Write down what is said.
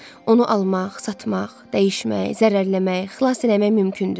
Onu almaq, satmaq, dəyişmək, zərərləmək, xilas eləmək mümkündür.